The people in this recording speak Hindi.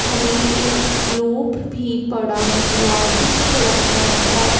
हमें एक ग्लोब भी पढ़ा हुआ दिख रहा है।